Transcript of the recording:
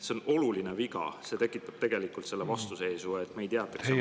See on oluline viga, see tekitab tegelikult vastuseisu,, et neid jäetakse maha.